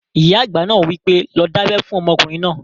Ìyá àgbà náà wí pé, 'lọ dábẹ́ fún ọmọkùnrin náà!"